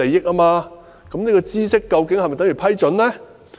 那麼，知悉究竟是否等於批准呢？